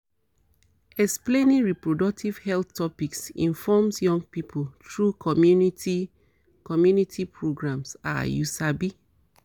explaining reproductive health topics informs young pipo through community community programs ah you sabi